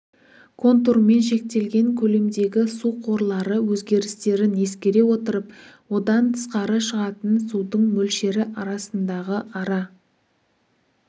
контурмен шектелген көлемдегі су қорлары өзгерістерін ескере отырып одан тысқары шығатын судың мөлшері арасындағы ара